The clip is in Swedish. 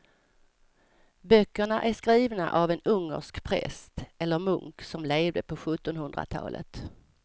Böckerna är skrivna av en ungersk präst eller munk som levde på sjuttonhundratalet.